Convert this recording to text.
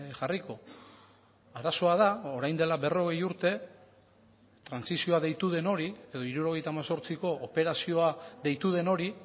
jarriko arazoa da orain dela berrogei urte trantsizioa deitu den hori edo hirurogeita hemezortziko operazioa deitu den hori